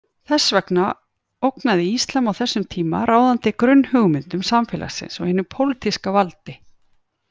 Þess vegna ógnaði íslam á þessum tíma ráðandi grunnhugmyndum samfélagsins og hinu pólitíska valdi.